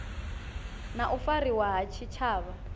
na u fariwa ha tshitshavha